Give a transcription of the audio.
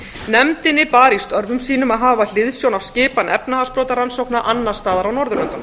nefndinni bar í störfum sínum að hafa hliðsjón af skipan efnahagsbrotarannsókna annars staðar á norðurlöndum